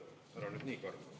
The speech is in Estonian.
Ära nüüd nii ka.